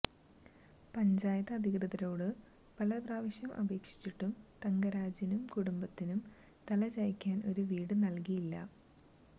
പഞ്ചായത്ത് അധികൃതരോട് പല പ്രാവശ്യം അപേക്ഷിച്ചിട്ടും തങ്കരാജിനും കുടുംബത്തിനും തലചായ്ക്കാന് ഒരു വീട് നല്കിയില്ല